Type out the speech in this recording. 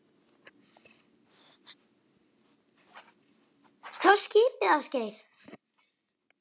Það var skipið Ásgeir